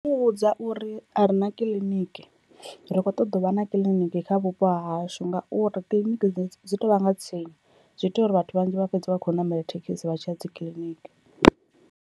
Ndi nga muvhudza uri a re na kiḽiniki, ri kho ṱoḓa u vha na kiḽiniki kha vhupo hashu, ngauri kiḽiniki dzi tovha nga tsini zwi ita uri vhathu vhanzhi vha fhedza vha khou namela thekhisi vha tshiya dzi kiḽiniki.